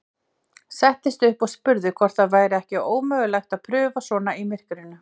Settist upp og spurði hvort það væri ekki ómögulegt að paufa svona í myrkrinu.